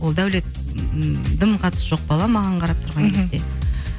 ол дәулет ммм дым қатысы жоқ бала маған қарап тұрған кезде